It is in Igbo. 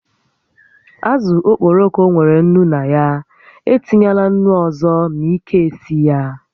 Àzụ̀ okporoko nwèrè ńnú na ya, e tinyela ńnú ọzọ ma ị ka-esi ya